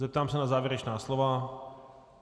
Zeptám se na závěrečná slova.